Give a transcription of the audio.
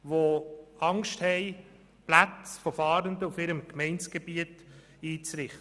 Diese haben Angst, Plätze für Fahrende auf ihrem Gemeindegebiet einzurichten.